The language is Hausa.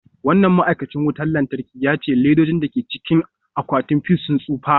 Wannan ma'aikacin wutar lantarki ya ce ledojin da ke cikin akwatin fuse sun tsufa.